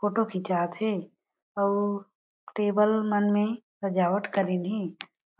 photo खिचात हे अउ टेबल मन में सजावट करिन हे